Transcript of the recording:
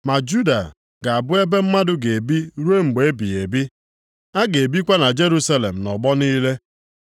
Ma Juda ga-abụ ebe mmadụ ga-ebi ruo mgbe ebighị ebi. A ga-ebikwa na Jerusalem nʼọgbọ niile.